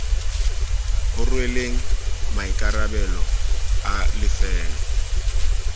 o rweleng maikarabelo a lefelo